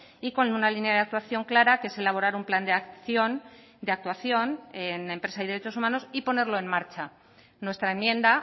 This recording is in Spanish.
y con una línea de actuación clara que es elaborar un plan de acción de actuación en empresa y derechos humanos y ponerlo en marcha nuestra enmienda